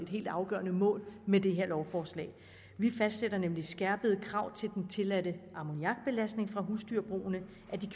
helt afgørende mål med det her lovforslag vi fastsætter nemlig skærpede krav til den tilladte ammoniakbelastning fra husdyrbrugene